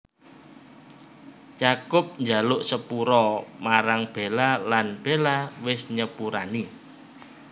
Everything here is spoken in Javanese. Jacob njaluk sepura marang Bella lan Bella wis nyepurani